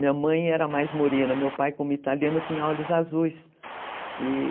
Minha mãe era mais morena, meu pai, como italiano, tinha olhos azuis.